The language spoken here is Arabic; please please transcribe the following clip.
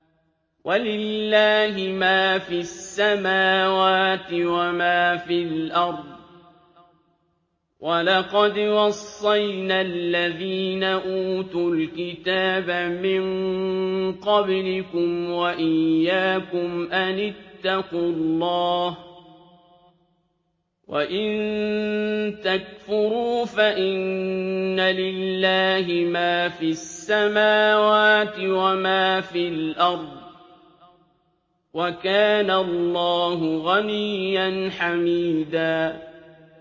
وَلِلَّهِ مَا فِي السَّمَاوَاتِ وَمَا فِي الْأَرْضِ ۗ وَلَقَدْ وَصَّيْنَا الَّذِينَ أُوتُوا الْكِتَابَ مِن قَبْلِكُمْ وَإِيَّاكُمْ أَنِ اتَّقُوا اللَّهَ ۚ وَإِن تَكْفُرُوا فَإِنَّ لِلَّهِ مَا فِي السَّمَاوَاتِ وَمَا فِي الْأَرْضِ ۚ وَكَانَ اللَّهُ غَنِيًّا حَمِيدًا